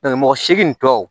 mɔgɔ seegin tɔ